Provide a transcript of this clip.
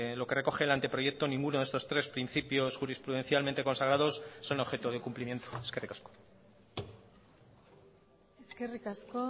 lo que recoge el anteproyecto ninguno de estos tres principios jurisprudencialmente consagrados son objeto de cumplimiento eskerrik asko eskerrik asko